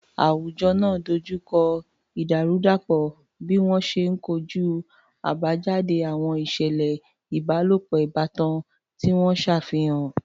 Àwùjọ náà dojú kọ ìdàrúdàpọ̀ bí wọ́n ṣe ń kojú àbájáde àwọn ìṣẹ̀lẹ̀ ìbálòpọ̀ ìbátan tí wọ́n ṣàfihàn.